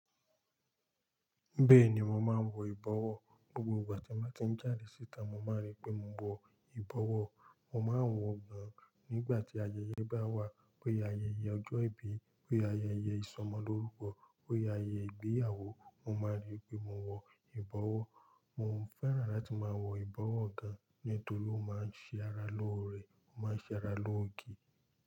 Bẹ́ẹ̀ni, mò máa ń wọ ìbọwọ́. Gbogbo ìgbà tí mò ti ń jáde síta, mò máa ń rí pé mò ń wọ ìbọwọ́. Mò máa ń wọ̀ ọ́ gan nígbà tí ayẹyẹ bá wà. Pé ayẹyẹ ọjọ́ ìbí, pé ayẹyẹ ìsọmọlórúkọ, pé ayẹyẹ ìgbéyàwó, mò máa ń rí pé mò ń wọ ìbọwọ́. Mò ń fẹ́ràn láti máa wọ ìbọwọ́ gan, nítorí ó máa ń ṣe ara lóore, ó máa ń ṣe ara lóoge.